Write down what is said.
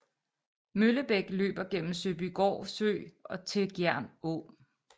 Møllebæk løber gennem Søbygård Sø til Gjern Å